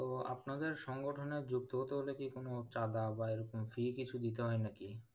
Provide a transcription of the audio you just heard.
ও আপনাদের সংগঠনে যুক্ত হতে হলে কি কোন চাঁদা বা এরকম fee কিছু দিতে হয় না কি?